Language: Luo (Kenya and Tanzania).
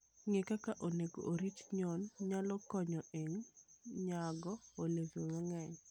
Ng'eyo kaka onego orit nyuon nyalo konyo e nyago olembe mang'eny.